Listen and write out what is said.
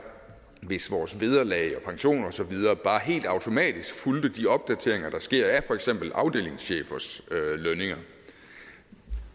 hvis vores vederlag og pension og så videre bare helt automatisk fulgte de opdateringer der sker af for eksempel afdelingschefers lønninger